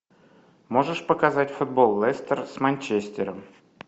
можешь показать футбол лестер с манчестером